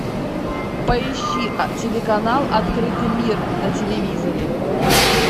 поищи телеканал открытый мир на телевизоре